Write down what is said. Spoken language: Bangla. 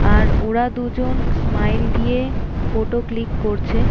আর ওরা দুজন স্মাইল দিয়ে ফোটো ক্লিক করছে - এ --